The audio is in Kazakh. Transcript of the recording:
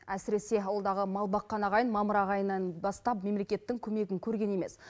әсіресе ауылдағы мал баққан ағайын мамыр ағайынан бастап мемлекеттің көмегін көрген емес